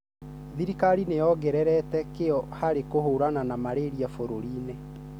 Thirikari nĩyongererete kĩo harĩ kũhũrana na malaria bũruriinĩ.